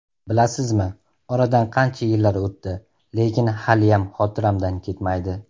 Bilasizmi, oradan qancha yillar o‘tdi, lekin haliyam xotiramdan ketmaydi.